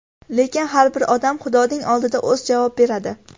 Lekin har bir odam xudoning oldida o‘zi javob beradi.